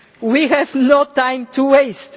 We have no time to waste!